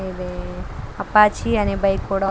ఇది అపాచీ అనే బైక్ కూడా --